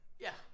Ja